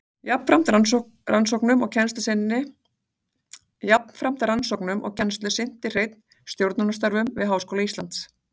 Jafnframt rannsóknum og kennslu sinnti Hreinn stjórnunarstörfum við Háskóla Íslands.